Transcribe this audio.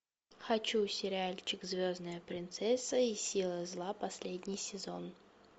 хочу сериальчик звездная принцесса и силы зла последний сезон